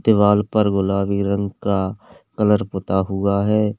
दीवाल पर गुलाबी रंग का कलर पोता हुआ है।